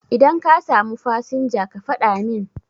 Idan ka samu fasinja ka faɗa min